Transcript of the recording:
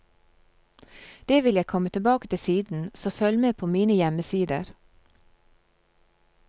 Det vil jeg komme tilbake til siden, så følg med på mine hjemmesider.